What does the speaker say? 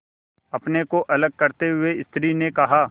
अपने को अलग करते हुए स्त्री ने कहा